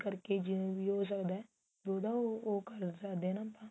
ਕਰਕੇ ਜਿਵੇਂ ਵੀ ਹੋ ਸਕਦਾ ਤਾਂ ਉਹਦਾ ਉਹ ਕਰ ਸਕਦੇ ਆ ਨਾ ਆਪਾਂ